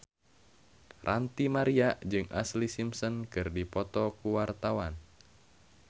Ranty Maria jeung Ashlee Simpson keur dipoto ku wartawan